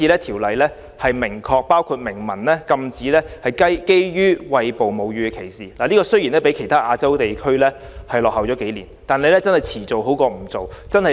《條例草案》明文禁止基於餵哺母乳的歧視，雖然這項建議較其他亞洲地區落後數年，但遲做總比不做好。